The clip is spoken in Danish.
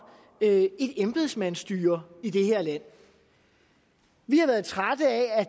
et embedsmandsstyre i det her land vi har været trætte af at